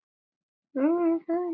Kossar og knús.